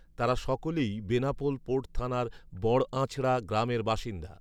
তারা সকলেই বেনাপোল পোর্ট থানার বড়আঁচড়া গ্রামের বাসিন্দা